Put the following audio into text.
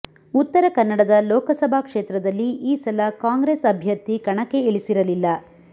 ಉತ್ತರ ಕನ್ನಡದ ಲೋಕಸಭಾ ಕ್ಷೇತ್ರದಲ್ಲಿ ಈ ಸಲ ಕಾಂಗ್ರೆಸ್ ಅಭ್ಯರ್ಥಿ ಕಣಕ್ಕೆ ಇಳಿಸಿರಲಿಲ್ಲ